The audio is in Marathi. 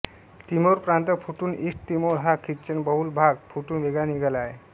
तिमोर प्रांत फुटून ईस्ट तिमोर हा ख्रिश्चनबहुल भाग फुटून वेगळा निघाला आहे